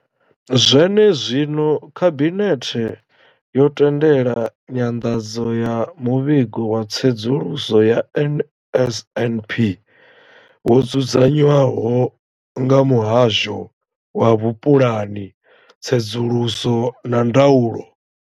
Zwenezwino, khabinethe yo tendela nyanḓadzo ya muvhigo wa tsedzuluso ya NSNP wo dzudzanywaho nga muhasho wa vhupulani, tsedzuluso na ndaulo.